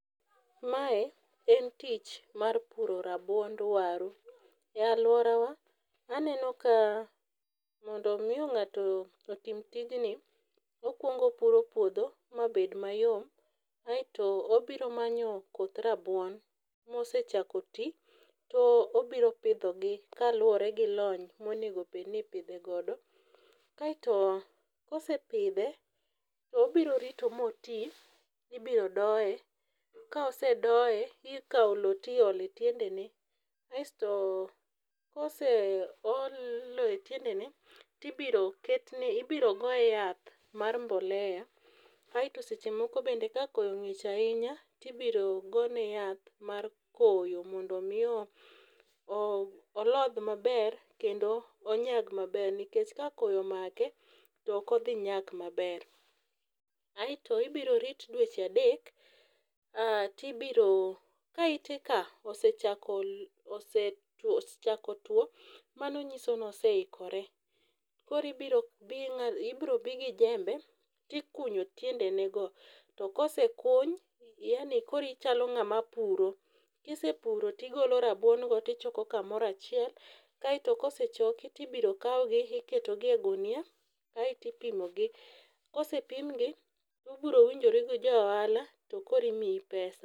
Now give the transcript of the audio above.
Mae en tich mar puro rabuond waru. E alworawa aneno ka mondo omi ng'ato otim tijni, okwongo opuro puodho mabed mayom aeto obiro manyo koth rabuon mosechako ti, to obiro pidhogi kaluwore gi lony monego obed ni ipidhe godo. Kaeto kosepidhe, to obiro rito moti, ibiro doye, ka osedoye, ikawo lowo tiolo e tiendene, kasto koseol lowo e tiendene, tibiro goye yath mar mbolea. Aeto seche moko bende kakoyo ng'ich ahinya tibiro gone yath mar koyo mondo omi oodh maber kendo onyag maber nikech ka koyo omake to ok odhi nyak mabere. Aeto ibiro rit dweche adek ka iteka osechako tuwo, mano nyiso noseikore ,koro ibiro bi gi jembe tikunyo tiendenego, to kosekuny yaani koro ichalo ng'ama puro, kisepuro tigolo rabuon go tichoko kamoro achiel. Kaeto kosechoki tibiro kawgi iketogi e gunia kaeto ipimogi, kosepimgi, ubiro winjoru gi jo ohala to koro imiyi pesa.